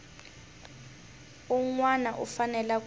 un wana u fanele ku